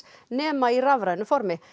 nema helst í rafrænu formi